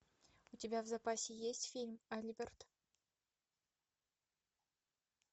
у тебя в запасе есть фильм альберт